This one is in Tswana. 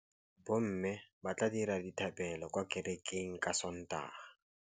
Bommê ba tla dira dithapêlô kwa kerekeng ka Sontaga.